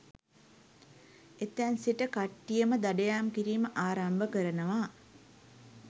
එතැන් සිට කට්ටියම දඩයම් කිරීම ආරම්භ කරනවා